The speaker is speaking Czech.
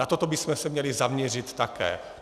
Na toto bychom se měli zaměřit také.